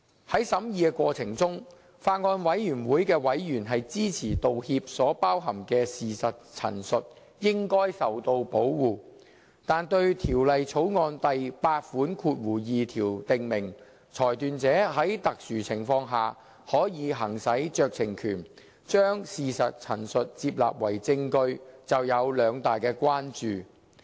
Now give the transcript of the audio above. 在審議過程中，法案委員會委員支持道歉所包含的事實陳述應該受到保護，但對《條例草案》第82條訂明，裁斷者在特殊情況下，可以行使酌情權，將事實陳述接納為證據，就有兩大關注。